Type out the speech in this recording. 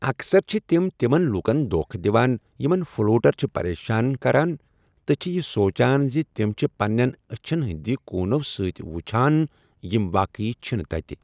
اکثر چھِ تِم تِمن لوٗکَن دۄکھٕ دِوان یِمَن فلوٹر چھِ پریشان کران تہِ چھِ یہِ سونٛچان زِ تِمۍ چھِ پنِنٮ۪ن أچھِن ہٕنٛدِ کوٗنو سۭتۍ ؤچھان یِمۍ واقعی چھِنہٕ تَتہِ۔